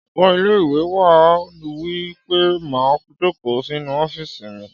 Ọgá ilé-ìwé náà wí pé má jòkó sínu ọ́fìsì mi!